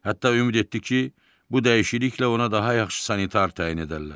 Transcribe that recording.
Hətta ümid etdi ki, bu dəyişikliklə ona daha yaxşı sanitar təyin edərlər.